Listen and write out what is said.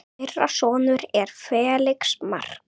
Þeirra sonur er Felix Mark.